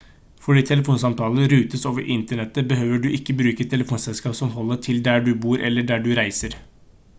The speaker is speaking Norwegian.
fordi telefonsamtaler rutes over internettet behøver du ikke å bruke et telefonselskap som holder til der du bor eller der du reiser